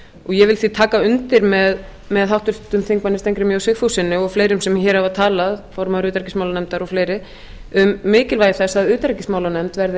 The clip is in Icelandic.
ég vil því taka undir með háttvirtum þingmönnum steingrími j sigfússyni og fleirum sem hér hafa talað formanni utanríkismálanefndar og fleiri um mikilvægi þess að utanríkismálanefnd verði